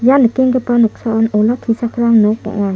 ia nikenggipa noksaon olakkichakram nok ong·a.